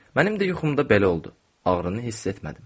Mənim də yuxumda belə oldu, ağrını hiss etmədim.